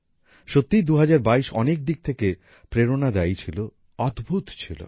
সত্যিই ২০২২ অনেক দিক থেকে প্রেরণাদায়ী ছিল অদ্ভূত ছিল